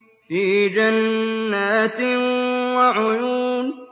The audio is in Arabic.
فِي جَنَّاتٍ وَعُيُونٍ